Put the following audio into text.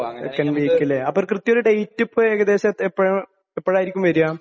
Second week ല്ലേ? അപ്പൊ കൃത്യമായ ഒരു ഡേറ്റ് ഏകദേശം എപ്പഴായിരിക്കും വരിക?